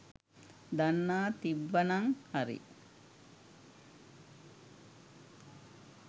දන්නා තිබ්බනං හරි